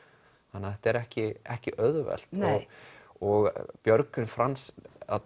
þannig þetta er ekki ekki auðvelt og Björgvin Franz